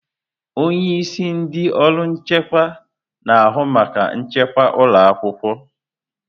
Onye isi ndị ọrụ nchekwa na-ahụ maka nchekwa ụlọ akwụkwọ.